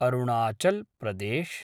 Arunachal Pradesh